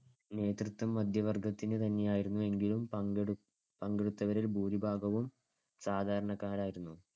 നേതൃത്വം മധ്യവർഗത്തിനു തന്നെയായിരുന്നെങ്കിലും പങ്കെടു~ പങ്കെടുത്തവരിൽ ഭൂരിഭാഗവും സാധാരണക്കാരായിരുന്നു.